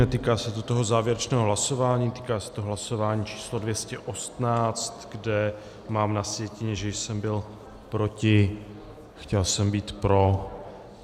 Netýká se to toho závěrečného hlasování, týká se to hlasování číslo 218, kde mám na sjetině, že jsem byl proti, chtěl jsem být pro.